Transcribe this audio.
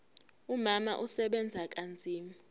umama usebenza kanzima